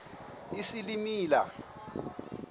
isilimela